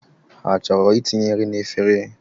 Ha chọrọ itinye nri n’efere?